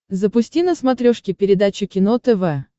запусти на смотрешке передачу кино тв